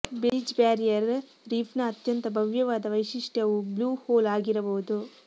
Belize barrier ರೀಫ್ನ ಅತ್ಯಂತ ಭವ್ಯವಾದ ವೈಶಿಷ್ಟ್ಯವು ಬ್ಲೂ ಹೋಲ್ ಆಗಿರಬಹುದು